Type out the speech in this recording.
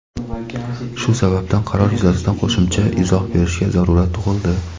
Shu sababdan qaror yuzasidan qo‘shimcha izoh berishga zarurat tug‘ildi.